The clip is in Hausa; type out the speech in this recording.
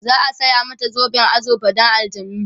za'a saya mata zoben azurfa Dan aljanai